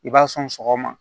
I b'a sɔn sɔgɔma